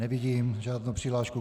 Nevidím žádnou přihlášku.